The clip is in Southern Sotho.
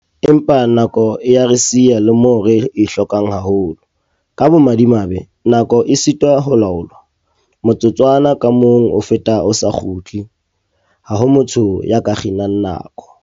Empa, nako e a re siya le moo re e hlokang haholo. Ka bomadimabe nako e sitwa ho laolwa. Motsotswana ka mong o feta o sa kgutle. Ha ho motho ya ka kginang nako.